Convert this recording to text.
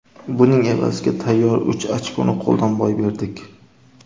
Buning evaziga tayyor uch ochkoni qo‘ldan boy berdik.